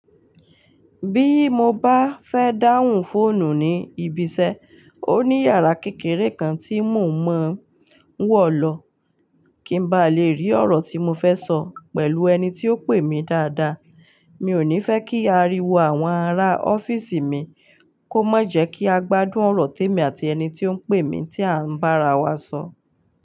Bí mo bá fẹ́ dáhùn fóònù ní ibi iṣẹ́, ó ní yàrá kékeré kan tí mò ń mọ wọ̀ lọ, kí n bá lè rí ọ̀rọ̀ tí mo fẹ́ sọ pẹ̀lú ẹni tí ó pè mí dáadáa. Mi ò ní fẹ́ kí ariwo àwọn ará ọ́fíìsì mi kó mọ jẹ́ kí a gbádùn ọ̀rọ̀ té mi àti ẹni tí ó ń pè mí tí à ń bá ara wa sọ.